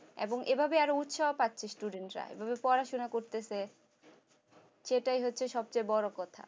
এবং এভাবে আরো উৎসাহ পাচ্ছে student রা পড়াশোনা করতেছে সেটাই হচ্ছে সবচেয়ে বড় কথা